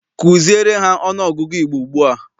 Kuziere ha ọnụọgụgụ Igbo ugbua!